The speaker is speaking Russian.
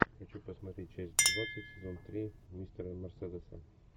хочу посмотреть часть двадцать сезон три мистера мерседеса